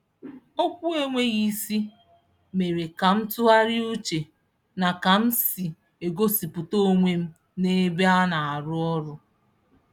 Okwu enweghị isi mere ka m tụgharịa uche na ka m si egosipụta onwe m n'ebe anarụ ọrụ